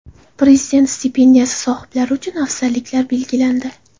Prezident stipendiyasi sohiblari uchun afzalliklar belgilandi.